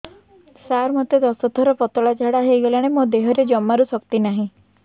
ସାର ମୋତେ ଦଶ ଥର ପତଳା ଝାଡା ହେଇଗଲାଣି ମୋ ଦେହରେ ଜମାରୁ ଶକ୍ତି ନାହିଁ